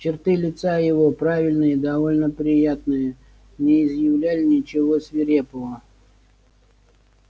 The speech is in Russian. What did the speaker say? черты лица его правильные и довольно приятные не изъявляли ничего свирепого